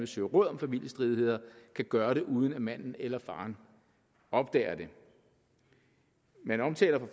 søge råd om familiestridigheder kan gøre det uden at manden eller faderen opdager det man omtaler